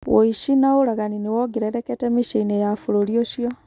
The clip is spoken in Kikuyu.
Ũici na ũragani nĩ wongererekete mĩciĩ-inĩ ya bũrũri ũcio.